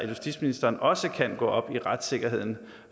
justitsministeren også kan gå op i retssikkerheden